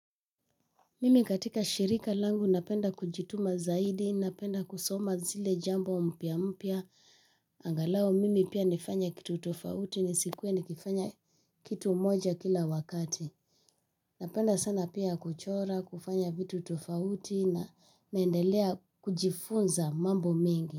Mimi katika shirika langu napenda kujituma zaidi, napenda kusoma zile jambo mpya mpya, angalau mimi pia nifanye kitu tofauti ni sikuwe nikifanya kitu moja kila wakati. Napenda sana pia kuchora, kufanya vitu tofauti na naendelea kujifunza mambo mengi.